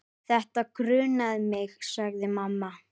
Þetta grunaði mig, sagði mamma.